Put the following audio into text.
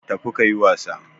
Tafi kayi wasa